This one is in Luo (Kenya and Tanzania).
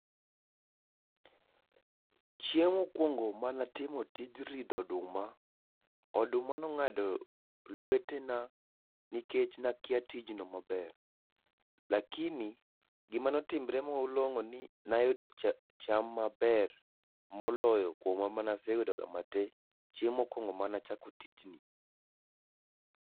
chieng mokuongo mane atimo tij ridho oduma, oduma no ong'ado lwetena nikech ne akia tij no maber. Lakini gima ne otimore malong'o ni nayudo cha cham maber moloyo kuom mane asuyedoga chieng mokuongo mane achako tij ni.